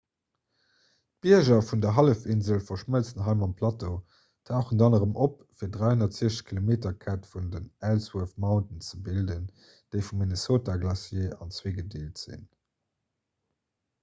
d'bierger vun der hallefinsel verschmëlzen hei mam plateau tauchen dann erëm op fir d'360-km-kette vun den ellsworth mountains ze bilden déi vum minnesota glacier an zwee gedeelt sinn